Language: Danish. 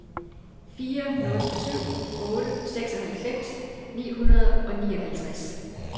fire nul syv otte seksoghalvfems ni hundrede og nioghalvtreds